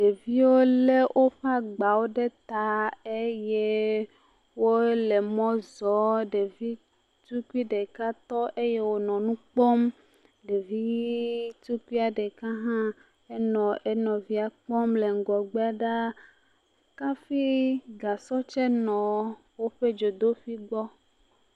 Deviwo lé woƒe agbawo ɖe ta eye wole mɔ zɔm ɖevi tukui ɖeka tɔ eye wonɔ nu kpɔm ɖevi tukui ɖeka hã enɔ enɔvia kpɔm ɖaa hafi gasɔ tse nɔ woƒe gbɔ.